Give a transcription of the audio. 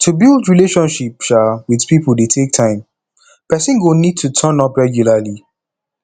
to build relationship um with pipo dey take time person go need to turn up regularly